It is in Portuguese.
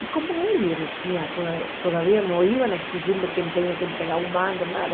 E como ele ele tinha, toda todavia ainda não iam exigir que ele tivesse que entregar um mando, nada.